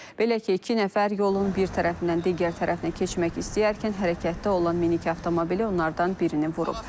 Belə ki, iki nəfər yolun bir tərəfindən digər tərəfinə keçmək istəyərkən hərəkətdə olan minik avtomobili onlardan birini vurub.